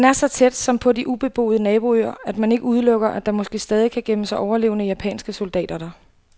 Den er så tæt, som på de ubeboede naboøer, at man ikke udelukker, at der måske stadig kan gemme sig overlevende japanske soldater der.